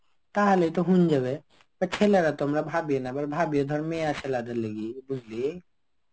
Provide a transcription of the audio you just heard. তাহলেই তো হন যাবে. ছেলেরা তো আমরা ভাবে না. এবার ভাবি. ধর মেয়েছেলে দের লইগ্যা. বুঝলি?